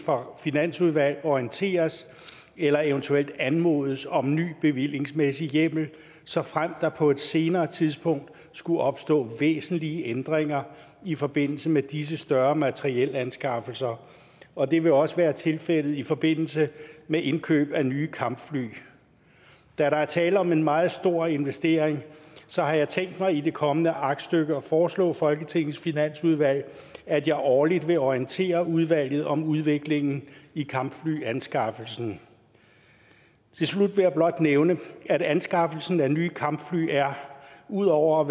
finansudvalg orienteres eller eventuelt anmodes om ny bevillingsmæssig hjemmel såfremt der på et senere tidspunkt skulle opstå væsentlige ændringer i forbindelse med disse større materielanskaffelser og det vil også være tilfældet i forbindelse med indkøb af nye kampfly da der er tale om en meget stor investering har jeg tænkt mig i det kommende aktstykke at foreslå folketingets finansudvalg at jeg årligt vil orientere udvalget om udviklingen i kampflyanskaffelsen til slut vil jeg blot nævne at anskaffelsen af nye kampfly ud over